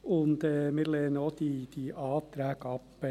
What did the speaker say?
Wir lehnen auch die Anträge ab.